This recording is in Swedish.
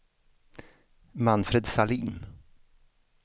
Manfred Sahlin